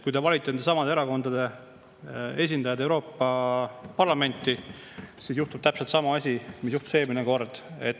Kui te valite nendesamade erakondade esindajad Euroopa Parlamenti, siis juhtub täpselt sama asi, mis juhtus eelmine kord.